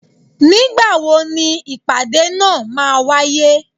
Ní gbàwó ni ìpàdé náá ma wàyé?